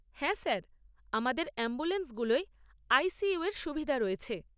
হ্যাঁ স্যার! আমাদের অ্যাম্বুলেন্সগুলোয় আই সি ইউ এর সুবিধা রয়েছে।